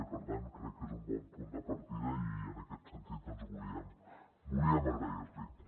i per tant crec que és un bon punt de partida i en aquest sentit doncs volíem agrair l’hi